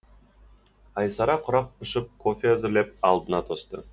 айсара құрақ ұшып кофе әзірлеп алдына тосты